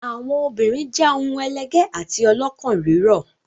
Àwọn obìnrin jẹ́ ohun ẹlẹgẹ́ àti ọlọ́kàn rírọ̀.